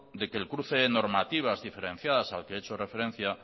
de que el cruce de normativas diferenciadas al que he hecho referencia